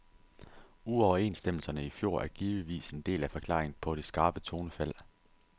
Uoverenstemmelserne i fjor er givetvis en del af forklaringen på det skarpe tonefald.